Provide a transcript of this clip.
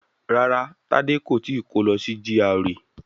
Rárá, Tádé kò tíì kó lọ sí GRA